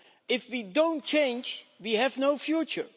If we don't change, we have no future.